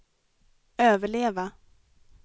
överleva